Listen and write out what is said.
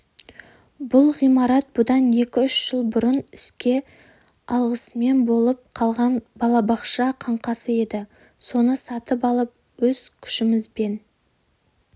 бұл ғимарат бұдан екі үш жыл бұрын іске алғысыз болып қалған балабақша қаңқасы еді соны сатып алып өз күшімізбен